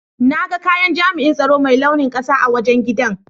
Na ga kayan jami'in tsaro Mai launin ƙasa a wajen giɗan.